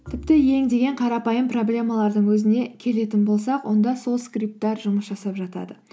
тіпті ең деген қарапайым проблемалардың өзіне келетін болсақ онда сол скрипттар жұмыс жасап жатады